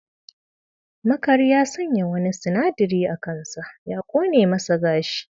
Makari ya sanya wani sinadari a kansa ya kone masa gashi.